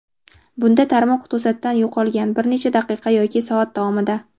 Bunda tarmoq to‘satdan yo‘qolgan - bir necha daqiqa yoki soat davomida.